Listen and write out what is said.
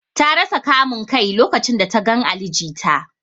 Ta rasa kamun Kai lokacin da ta gan Ali jita.